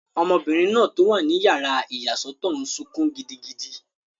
Ọmọbìnrin náà tó wà ní yàrá ìyàsọ́tọ̀ n sọkún gidigidi